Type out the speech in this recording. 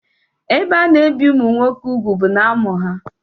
Ebe ana-ebi ụmụ nwoke úgwù bụ n'amụ ha.